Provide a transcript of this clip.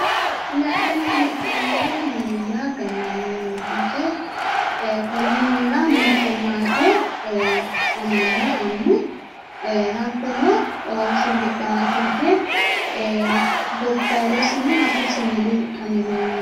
La'nanni hee'noommohu minenna gallanni mineeti yaate ee konni minira mitte maate amanna annu hattono ooso hedhawoosi yaate gobbayyidosino hatto siwiiluyi huxxame leellano.